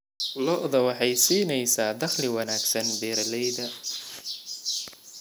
Lo'da lo'da waxay siinaysaa dakhli wanaagsan beeralayda.